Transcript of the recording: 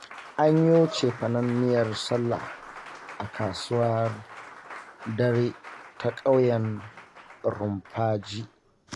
An yo cefanen miyar sallah a kasuwar dare ta ƙauyen Rumfaji